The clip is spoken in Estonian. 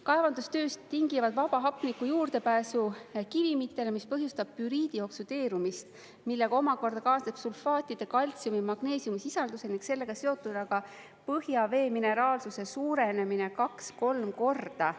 Kaevandustööst tingivad vaba hapniku juurdepääsu kivimitele, mis põhjustab püriidi oksudeerumist, millega omakorda kaasneb sulfaatide, kaltsiumi, magneesiumi sisalduse ning sellega seotud ka põhjavee mineraalsuse suurenemine kaks, kolm korda.